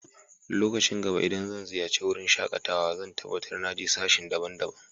Lokacin gaba idan zan ziyace wurin shakatawa zan tabatar na je sashe daban-daban.